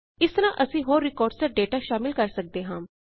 ਇਸ ਤਰਹ ਅਸੀਂ ਹੋਰ ਰਿਕਾਰਡਸ ਜਾਂ ਡੇਟਾ ਸ਼ਾਮਲ ਕਰ ਸਕਦੇ ਹਾਂ